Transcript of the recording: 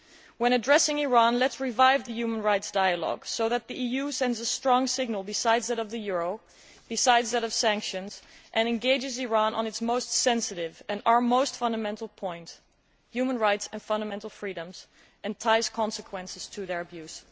When addressing Iran, let us revive the human rights dialogue so that the EU sends a strong signal, besides that of the euro and of sanctions, and engages Iran on its most sensitive and our most fundamental point human rights and fundamental freedoms and attaches consequences to their abuse.